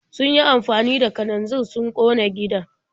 Sun yi amfani da kananzir sun ƙona gidan.